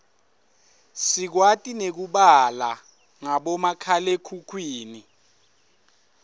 sikwati nekubala ngabomakhalekhukhwini